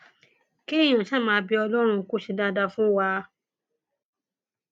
kéèyàn ṣáà máa bẹ ọlọrun pé kó ṣe dáadáa fún wa